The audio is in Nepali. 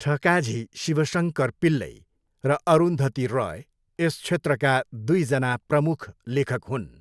ठकाझी शिवशङ्कर पिल्लै र अरुन्धती रोय यस क्षेत्रका दुईजना प्रमुख लेखक हुन्।